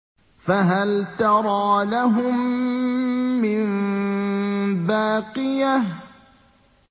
فَهَلْ تَرَىٰ لَهُم مِّن بَاقِيَةٍ